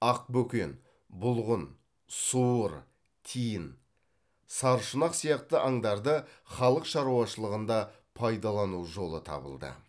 ақ бөкен бұлғын суыр тиін саршұнақ сияқты аңдарды халық шаруашылығында пайдалану жолы табылды